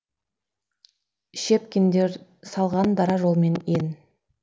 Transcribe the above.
щепкиндер салған дара жолмен ен